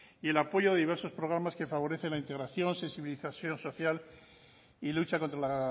y el apoyo de diversos programas que favorecen la integración sensibilización social y lucha contra la